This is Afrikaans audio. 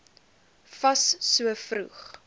fas so vroeg